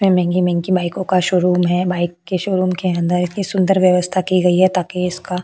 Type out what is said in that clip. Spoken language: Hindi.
ये महंगी महंगी बाइको का शोरूम है बाइक के शोरूम के अंदर इतनी सुंदर व्यवस्ता की गई है ताकि इसका --